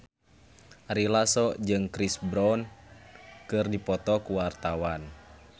Ari Lasso jeung Chris Brown keur dipoto ku wartawan